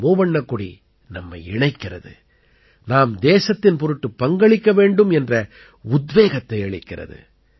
மூவண்ணக் கொடி நம்மை இணைக்கிறது நாம் தேசத்தின் பொருட்டு பங்களிக்க வேண்டும் என்ற உத்வேகத்தை அளிக்கிறது